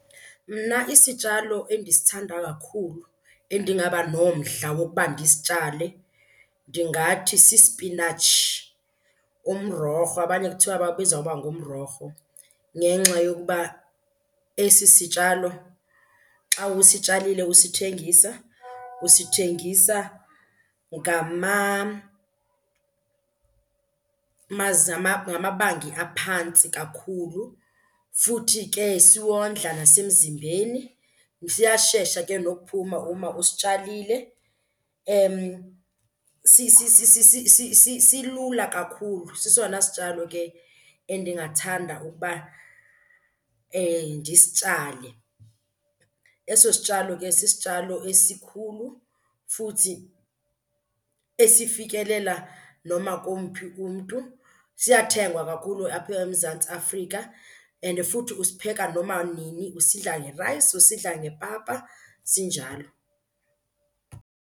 Mna isitshalo endisithanda kakhulu endingaba nomdla wokuba ndisitshale ndingathi sispinatshi, umrorho, abanye kuthiwa bawubiza ngoba ngumrorho. Ngenxa yokuba esi sitshalo xa usitshalile usithengisa usithengisa ngamabanga aphantsi kakhulu, futhi ke siwondla nasemzimbeni, siyashesha ke nokuphuma uma usitshalile, silula kakhulu. Sesona sitshalo ke endingathanda ukuba ndisitshale. Eso sitshalo ke sisitshalo esikhulu futhi esifikelela noma komphi umntu, siyathengwa kakhulu apha eMzantsi Afrika. And futhi usipheka noma nini, usidla ngerayisi usidla ngepapa, sinjalo.